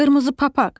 Qırmızı papaq.